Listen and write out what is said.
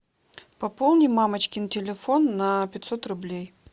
пополни мамочкин телефон на пятьсот рублей